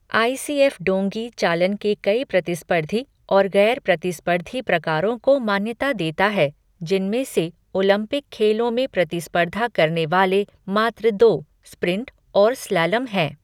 आई C F डोंगी चालन के कई प्रतिस्पर्धी और गैर प्रतिस्पर्धी प्रकारों को मान्यता देता है, जिनमें से ओलंपिक खेलों में प्रतिस्पर्धा करने वाले मात्र दो, स्प्रिंट और स्लैलम हैं।